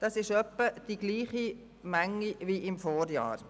Das ist etwa die gleiche Menge wie im Vorjahr.